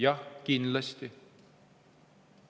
Jah, kindlasti.